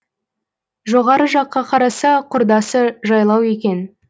жоғары жаққа қараса құрдасы жайлау екен